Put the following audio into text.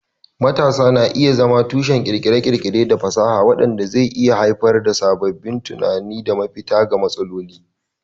Matasa na iya zama tushen kirkire-kirkire da fasaha, wanda zai iya haifar da sabbin tunani da mafita ga matsaloli.